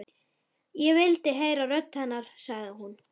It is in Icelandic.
Ég vil heyra rödd hennar, sagði hún.